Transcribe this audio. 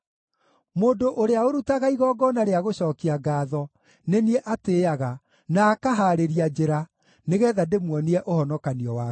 Mũndũ ũrĩa ũrutaga igongona rĩa gũcookia ngaatho nĩ niĩ atĩĩaga, na akahaarĩria njĩra nĩgeetha ndĩmuonie ũhonokanio wa Ngai.”